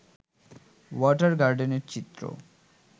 water গার্ডেনের চিত্র